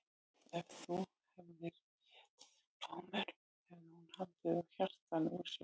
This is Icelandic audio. Ef þú hefðir étið blóðmör hefði hún haldið á hjartanu úr sér.